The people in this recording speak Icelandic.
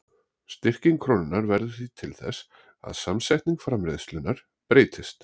Styrking krónunnar verður því til þess að samsetning framleiðslunnar breytist.